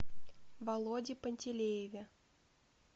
володе пантелееве